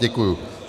Děkuji.